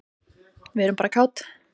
Við erum bara kát.